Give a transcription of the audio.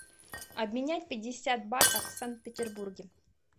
обменять пятьдесят батов в санкт петербурге